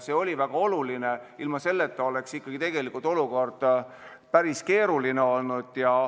See oli väga oluline, ilma selleta oleks tegelikult olukord päris keeruline olnud.